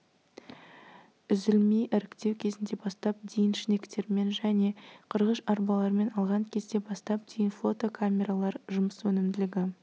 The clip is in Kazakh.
үзілмей іріктеу кезінде бастап дейін шнектермен және қырғыш арбалармен алған кезде бастап дейін флотокамералар жұмыс өнімділігі